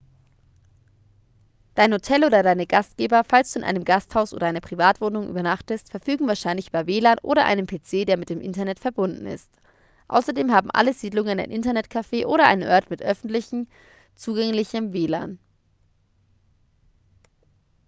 dein hotel oder deine gastgeber falls du in einem gasthaus oder einer privatwohnung übernachtest verfügen wahrscheinlich über wlan oder einen pc der mit dem internet verbunden ist. außerdem haben alle siedlungen ein internet-café oder einen ort mit öffentlich zugänglichem wlan